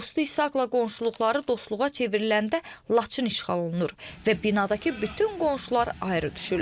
Dostu İsaqla qonşuluqları dostluğa çevriləndə Laçın işğal olunur və binadakı bütün qonşular ayrı düşürlər.